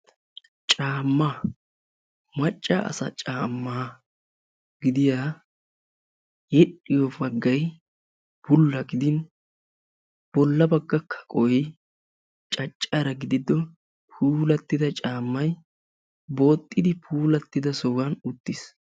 caamma macca asa caamma gidiya yedhdhiyo baggay bulla gidin bolla bagga kaqoy caccara gidido puulattida caammay booxxidi puulattida sohuwan uttis.